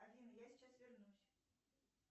афина я сейчас вернусь